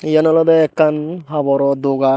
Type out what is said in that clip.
iyen olodey ekkan haboro dogan.